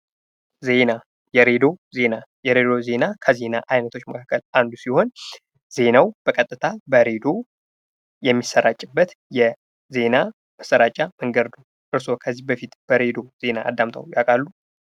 ዜና የሬዲዮ ዜና የሬዲዮ ዜና ከዜና አይነቶች መካከል አንዱ ሲሆን ዜናው በቀጥታ በሪ=ሬዲዮ የሚሰራጭበት የዜና ማሰራጫ መንገድ ነው። እርሶ ከዚህ በፊት በሬዲዮ ዜና አዳምጠው ያውቃሉ?